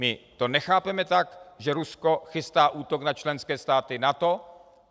My to nechápeme tak, že Rusko chystá útok na členské státy NATO.